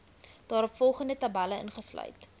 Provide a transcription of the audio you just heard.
daaropvolgende tabelle ingesluit